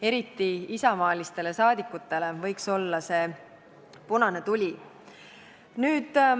Eriti isamaalistele saadikutele võiks see olla punane tuli.